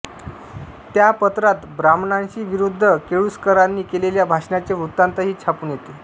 त्या पत्रात ब्राह्मणशाही विरुद्ध केळूसकरांनी केलेल्या भाषणांचे वृत्तान्तही छापून येत